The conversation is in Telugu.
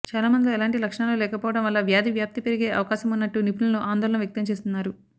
చాలా మందిలో ఎలాంటి లక్షణాలు లేకపోవడం వల్ల వ్యాధి వ్యాప్తి పెరిగే అవకాశమున్నట్టు నిపుణులు ఆందోళన వ్యక్తం చేస్తున్నారు